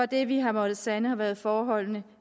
det vi har måttet sande har været forholdene